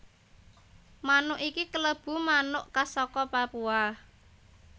Manuk iki kalebu manuk khas saka Papua